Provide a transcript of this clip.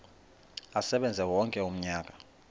asebenze wonke umnyaka